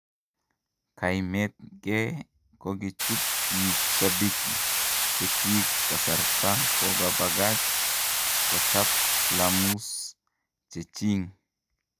Kaimetnge kokichut pik shabiki chechik kasarta kikopakach kochap flamus cheching